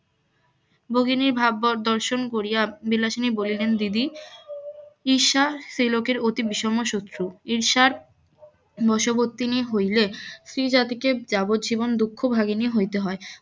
ভগিনীর ভাব দর্শন করিয়া বিলাসিনী বলিলেন দিদি ঈর্ষা সেই লোকের অতি বিষম শত্রূ ঈর্ষার বসবর্তিনী হইলে স্ত্রী জাতিকে যাবৎজীবন দুঃখ ভাগিনী হইতে হয়